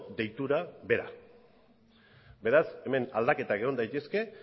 deitura bera beraz hemen aldaketak egon daitezke